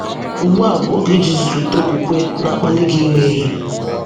Ugbu a bụ oge iji zụlite okwukwe na-akpali gị ime ihe.